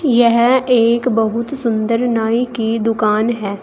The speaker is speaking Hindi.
यह एक बहुत सुंदर नाई की दुकान है।